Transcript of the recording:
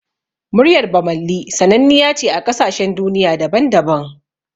Muryar Bammali sananniya ce a ƙasashen duniya daban-daban